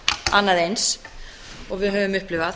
annað eins og við höfum upplifað